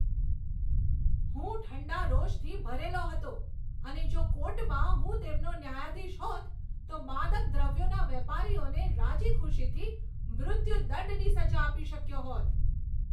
હું ઠંડા રોષથી ભરેલો હતો અને જો કોર્ટમાં હું તેમનો ન્યાયાધીશ હોત તો માદક દ્રવ્યોના વેપારીઓને રાજીખુશીથી મૃત્યુદંડની સજા આપી શક્યો હોત.